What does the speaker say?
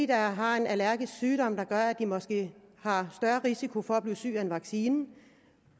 der har en allergisk sygdom der gør at de måske har større risiko for at blive syg af en vaccine